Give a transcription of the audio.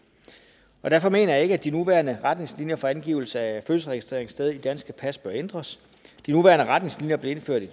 derfor mener jeg ikke at de nuværende retningslinjer for angivelse af fødselsregistreringssted i danske pas bør ændres de nuværende retningslinjer blev indført i